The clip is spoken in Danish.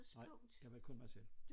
Nej jeg var kun mig selv